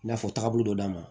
I n'a fɔ tagabolo dɔ d'a ma